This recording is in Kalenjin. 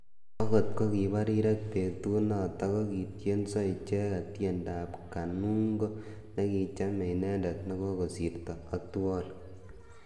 Akot kokibo rirek betunotok kokityenso icheket tiendo ab Kanungo nekichamei inendet nekakosirto Othuol.